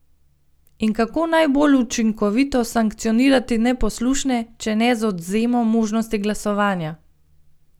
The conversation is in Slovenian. In kako najbolj učinkovito sankcionirati neposlušne, če ne z odvzemom možnosti glasovanja?